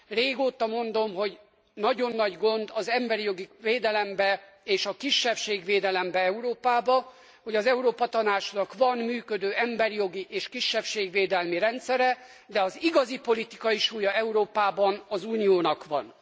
Régóta mondom, hogy nagyon nagy gond az emberi jogi védelemben és a kisebbségvédelemben Európában, hogy az Európa Tanácsnak van működő emberi jogi és kisebbségvédelmi rendszere, de az igazi politikai súlya Európában az Uniónak van.